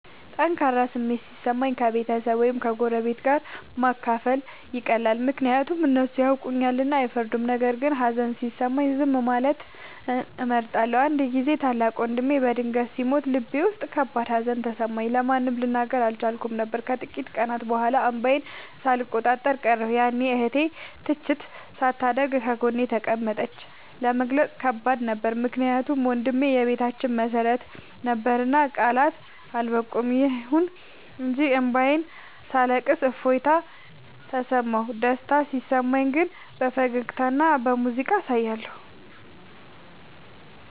ጠንካራ ስሜት ሲሰማኝ ከቤተሰብ ወይም ከጎረቤት ጋር ማካፈል ይቀላል፤ ምክንያቱም እነሱ ያውቁኛልና አይፈርዱም። ነገር ግን ሀዘን ሲሰማኝ ዝም ማለትን እመርጣለሁ። አንድ ጊዜ ታላቅ ወንድሜ በድንገት ሲሞት ልቤ ውስጥ ከባድ ሀዘን ተሰማኝ፤ ለማንም ልናገር አልቻልኩም ነበር። ከጥቂት ቀናት በኋላ እንባዬን ሳልቆጣጠር ቀረሁ፤ ያኔ እህቴ ትችት ሳታደርግ ጎኔ ተቀመጠች። ለመግለጽ ከባድ ነበር ምክንያቱም ወንድሜ የቤታችን መሰረት ነበርና ቃላት አልበቁም። ይሁን እንጂ እንባዬን ሳለቅስ እፎይታ ተሰማሁ። ደስታ ሲሰማኝ ግን በፈገግታና በሙዚቃ አሳያለሁ።